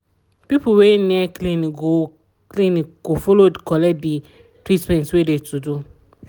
people wey near clinic go clinic go follow collect de treatment wey de to do.